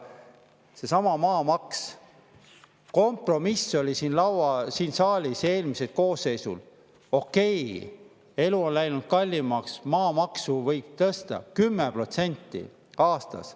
Seesama maamaks – eelmisel koosseisul oli siin saalis kompromiss: okei, elu on läinud kallimaks, maamaksu võib tõsta 10% aastas.